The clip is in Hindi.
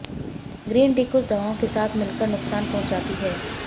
ग्रीन टी कुछ दवाओं के साथ मिलकर नुकसान पहुंचाती है